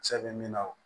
Cɛ bɛ min na o